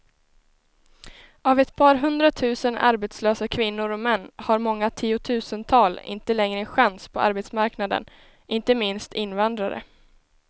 Av ett par hundratusen arbetslösa kvinnor och män har många tiotusental inte längre en chans på arbetsmarknaden, inte minst invandrare.